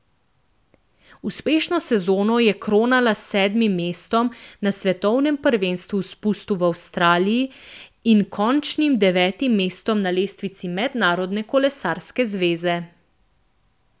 Uspešno sezono je kronala s sedmim mestom na svetovnem prvenstvu v spustu v Avstraliji in končnim devetim mestom na lestvici Mednarodne kolesarske zveze.